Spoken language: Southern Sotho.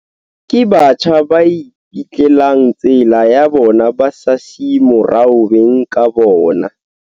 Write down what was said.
Ke batjha ba ipetlelang tsela ya bona ba sa siye morao beng ka bona.